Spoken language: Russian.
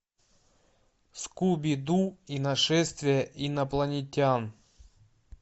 скуби ду и нашествие инопланетян